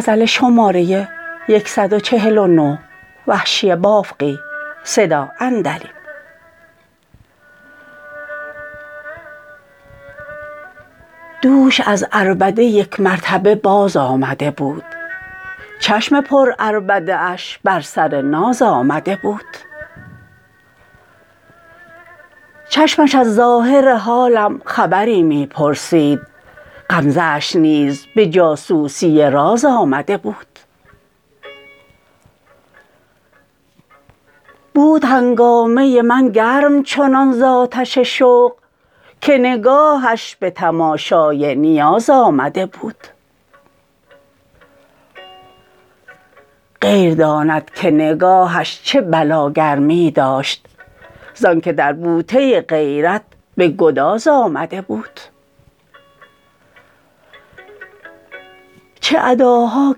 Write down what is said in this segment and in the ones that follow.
دوش از عربده یک مرتبه باز آمده بود چشم پر عربده اش بر سر ناز آمده بود چشمش از ظاهر حالم خبری می پرسید غمزه اش نیز به جاسوسی راز آمده بود بود هنگامه من گرم چنان ز آتش شوق که نگاهش به تماشای نیاز آمده بود غیر داند که نگاهش چه بلا گرمی داشت زانکه در بوته غیرت به گداز آمده بود چه اداها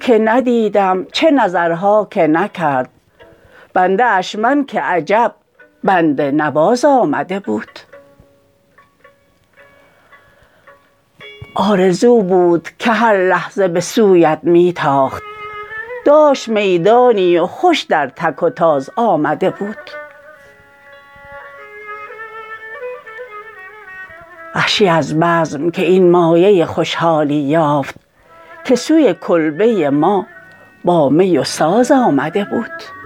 که ندیدم چه نظرها که نکرد بنده اش من که عجب بنده نواز آمده بود آرزو بود که هر لحظه به سویت می تاخت داشت می دانی و خوش در تک و تاز آمده بود وحشی از بزم که این مایه خوشحالی یافت که سوی کلبه ما با می و ساز آمده بود